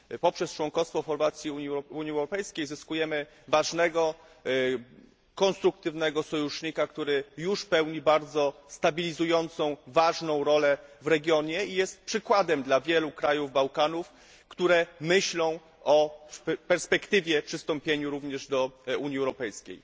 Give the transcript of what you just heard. Poprzez członkostwo Chorwacji w Unii Europejskiej zyskujemy ważnego, konstruktywnego sojusznika, który już pełni bardzo stabilizującą, ważną rolę w regionie i jest przykładem dla wielu krajów Bałkanów, które myślą o perspektywie przystąpienia również do Unii Europejskiej.